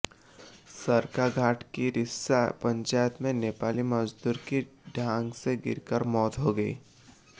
सरकाघाट की रिस्सा पंचायत में नेपाली मजदूर की ढांक से गिरकर मौत हो गई